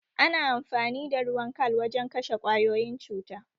Ana amfani da ruwan kal wajen kashe kwayoyin cuta